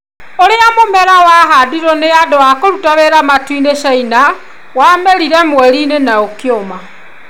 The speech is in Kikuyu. Urĩa mũmera ũrĩa wahandirwo nĩ andũ a kũruta wĩra matu-inĩ China wamerire mweri-inĩ na kũma